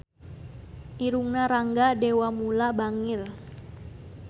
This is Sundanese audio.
Irungna Rangga Dewamoela bangir